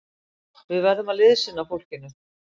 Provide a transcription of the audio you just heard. Við verðum að liðsinna fólkinu!